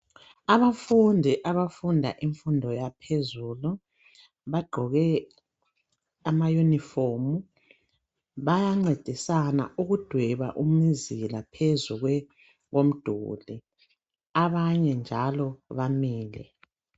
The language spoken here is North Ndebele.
Abafundi ,abafunda infundo yaphezulu ,bagqoke ama yunifomu. Bayancedisana ukudweba umzila phezu komduli ,abanye njalo bamile.